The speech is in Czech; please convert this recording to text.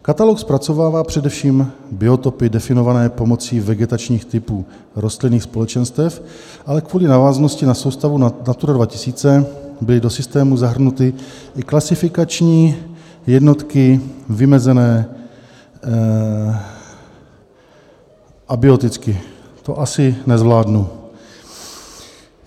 Katalog zpracovává především biotopy definované pomocí vegetačních typů rostlinných společenstev, ale kvůli návaznosti na soustavu Natura 2000 byly do systému zahrnuty i klasifikační jednotky vymezené abioticky." To asi nezvládnu.